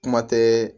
Kuma tɛ